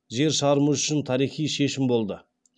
жер шарымыз үшін тарихи шешім болды